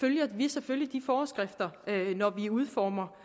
følger vi selvfølgelig de forskrifter når vi udformer